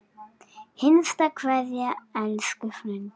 HINSTA KVEÐJA Elsku frændi.